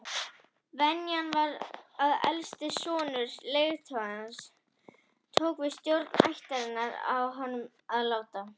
Venjan var sú að elsti sonur leiðtogans tók við stjórn ættarinnar að honum látnum.